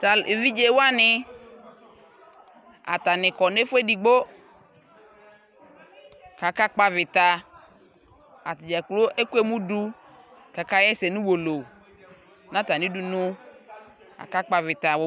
ta evidzɛ wani atanikɔ nu ɛfuɛ ɛdigbo ka aka kpɔ avita atani dza kplo ɛkʋɛmudu ka aka yɛsɛ nʋ ʋwolo natani dʋnʋ aka kpɔ avita o